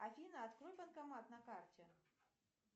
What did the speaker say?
афина открой банкомат на карте